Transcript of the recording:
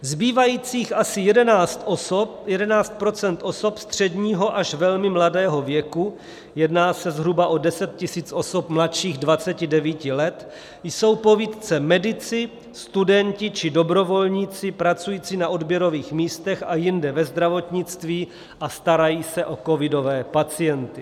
Zbývajících asi 11 % osob středního až velmi mladého věku - jedná se zhruba o 10 000 osob mladších 29 let - jsou povýtce medici, studenti či dobrovolníci pracující na odběrových místech a jinde ve zdravotnictví a starající se o covidové pacienty.